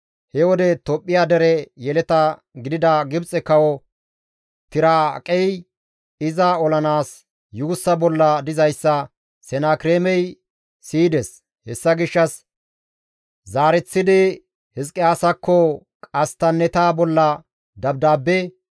He wode Tophphiya dere yeleta gidida Gibxe kawo Tiraaqey iza olanaas yuussa bolla dizayssa Senakireemey siyides; hessa gishshas zaareththidi Hizqiyaasakko qasttanneta bolla dabdaabbe,